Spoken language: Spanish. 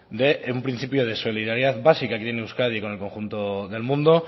de un principio de solidaridad básica aquí en euskadi con el conjunto del mundo